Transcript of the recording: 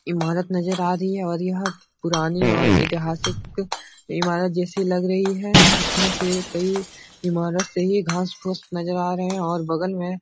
इमारत नजर आ रही है और यह पुरानी और ऐतहासिक इमारत जैसी लग रही है जिसमें से कई इमारत से ये घास फूस नजर आ रहे हैं और बगल में --